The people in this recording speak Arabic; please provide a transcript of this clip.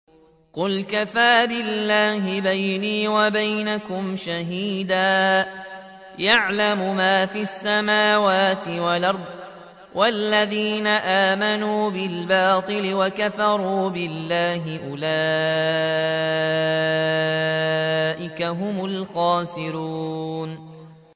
قُلْ كَفَىٰ بِاللَّهِ بَيْنِي وَبَيْنَكُمْ شَهِيدًا ۖ يَعْلَمُ مَا فِي السَّمَاوَاتِ وَالْأَرْضِ ۗ وَالَّذِينَ آمَنُوا بِالْبَاطِلِ وَكَفَرُوا بِاللَّهِ أُولَٰئِكَ هُمُ الْخَاسِرُونَ